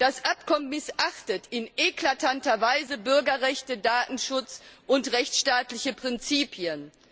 Das Abkommen missachtet in eklatanter Weise Bürgerrechte, Datenschutz und rechtsstaatliche Prinzipien.